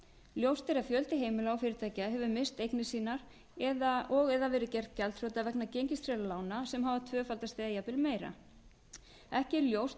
ljóst er að fjöldi heimila og fyrirtækja hefur misst eignir sínar og eða verið gerð gjaldþrota vegna gengistryggðra lána sem hafa tvöfaldast eða jafnvel meira ekki er ljóst